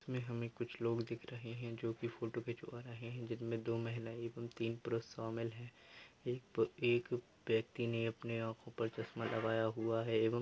हमे हमे कुछ लोग दिख रहे है जो कि फोटो खिंचवा रहे है जिनमे दो महिला एवं तीन पुरुष शामिल है। एक एक व्यक्ति ने अपने आंखो पर चश्मा लगाया हुआ है एवं--